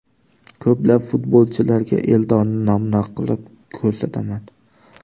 Ko‘plab futbolchilarga Eldorni namuna qilib ko‘rsataman.